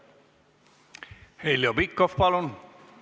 Heljo Pikhof, palun!